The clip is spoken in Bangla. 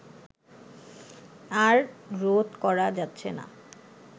আর রোধ করা যাচ্ছে না